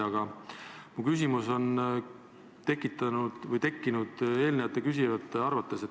Aga minu küsimus on tekkinud eelmiste küsimuste ajendil.